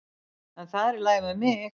En það er í lagi með mig.